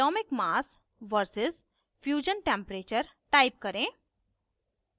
atomicmass vs fusion temperature type करें